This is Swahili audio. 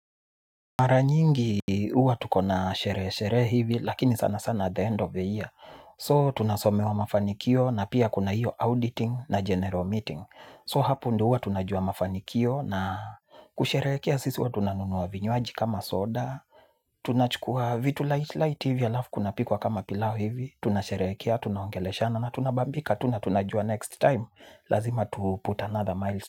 Mara nyingi huwa tuko na sherehesherehe hivi lakini sana sana at the end of the year So tunasomewa mafanikio na pia kuna hiyo auditing na general meeting So hapo ndio tunajua mafanikio na kusherehekea sisi huwa tunanunua vinywaji kama soda. Tunachukua vitu light light hivi laafu kuna pikwa kama pilau hivi. Tunasherehekea, tunaongeleshana na tunabambika, tuna na tunajua next time. Lazima tuput another miles.